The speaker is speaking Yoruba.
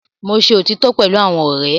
Mo ṣe otitọ pẹlu awọn ọrẹ